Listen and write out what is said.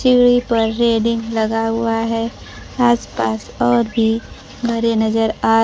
सीढ़ी पर रेलिंग लगा हुआ है आसपास और भी घरे नजर आ--